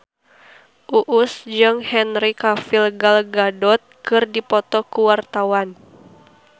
Uus jeung Henry Cavill Gal Gadot keur dipoto ku wartawan